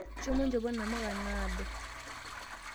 Shomo nchopo namuka naado.